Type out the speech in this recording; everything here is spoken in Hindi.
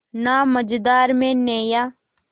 ना मझधार में नैय्या